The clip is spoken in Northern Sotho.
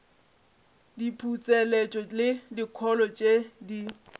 diputseletšo le dikholo tše di